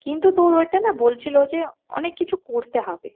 কিন্তু তোর ওইটা না বলছিলো যে অনেক কিছু করতে হবে।